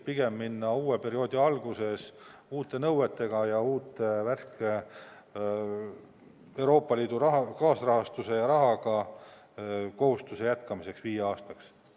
Pigem minna uue perioodi alguses edasi uute nõuetega ja uue värske Euroopa Liidu raha ja kaasrahastusega, et siis kohustusi jätkata viieks aastaks.